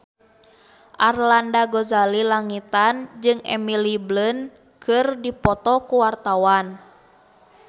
Arlanda Ghazali Langitan jeung Emily Blunt keur dipoto ku wartawan